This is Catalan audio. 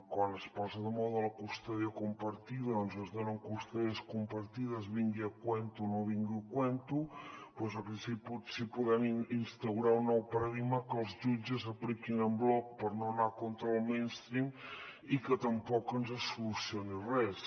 quan es posa de moda la custòdia compartida es donen custòdies compartides vingui a tomb o no vingui a tomb doncs aquí potser podem instaurar un nou paradigma que els jutges apliquin en bloc per no anar contra el mainstream i que tampoc ens solucioni res